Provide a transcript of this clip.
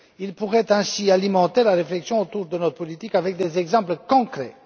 Il pourrait ainsi alimenter la réflexion sur notre politique avec des exemples concrets.